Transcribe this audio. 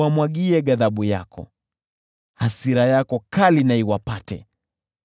Uwamwagie ghadhabu yako, hasira yako kali na iwapate.